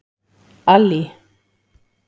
Allý